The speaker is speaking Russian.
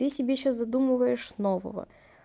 ты себе сейчас задумываешь нового